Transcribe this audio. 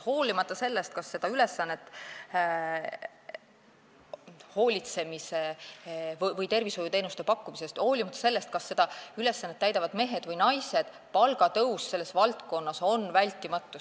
Hoolimata sellest, kas seda hoolitsemise või tervishoiuteenuste pakkumise ülesannet täidavad mehed või naised, palgatõus selles valdkonnas on vältimatu.